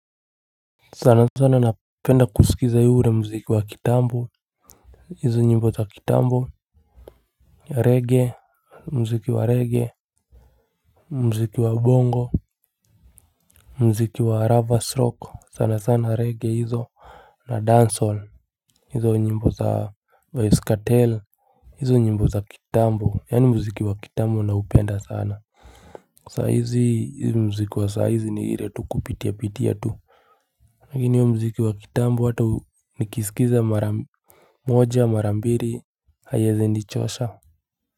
Sana sana napenda kusikiza ile mziki wa kitambo. Hizo nyimbo za kitambo ya Reggae. Mziki wa reggae mziki wa bongo mziki wa rovers rock sana sana reggae hizo. Na dancehall hizo nyimbo za vybz kartel. Hizo nyimbo za kitambo yaani mziki wa kitambo na upenda sana. Saizi hizi mziki wa saizi ni hile tu kupitia pitia tu kama ni huo mziki wa kitambo watu ni kisikiza mara moja mara mbiri haiezi nichosha.